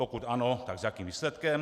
Pokud ano, tak s jakým výsledkem?